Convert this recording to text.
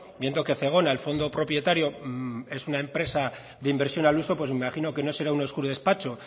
viendo que zegona el fondo propietario es una empresa de inversión al uso pues me imagino que no será un oscuro despacho